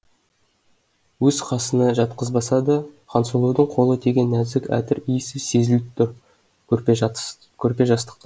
өз қасына жатқызбаса да хансұлудың қолы тиген нәзік әтір иісі сезіліп тұр көрпе жастықта